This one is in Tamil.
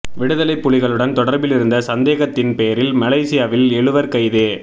விடுதலைப் புலிகளுடன் தொடர்பிலிருந்த சந்தேகத்தின்பேரில் மலேசியாவில் எழுவர் கைது